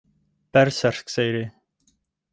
Berserkseyri